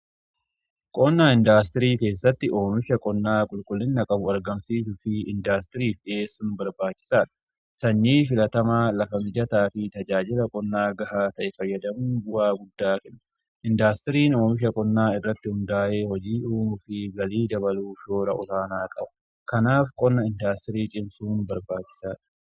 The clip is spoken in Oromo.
Qonna indaastirii keessatti oomisha qonnaa qulqullina qabu argamsiisuu fi indaastiriif dhi'eessun barbaachisaadha. Sanyii filatamaa lafa mijataa fi tajaajila qonnaa gahaa ta'e fayyadamuun bu'aa guddaa kenna. Indaastiriin oomisha qonnaa irratti hundaa'e hojii uumuu fi galii dabaluuf shoora olaanaa qaba. Kanaaf qonna indaastirii cimsuun barbaachisaadha.